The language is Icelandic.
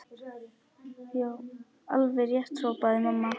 Já, alveg rétt hrópaði mamma.